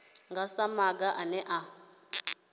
nga sa maga ane a